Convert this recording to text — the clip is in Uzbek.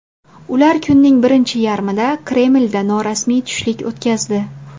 Ular kunning birinchi yarmida Kremlda norasmiy tushlik o‘tkazdi.